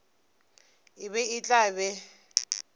e be e tla be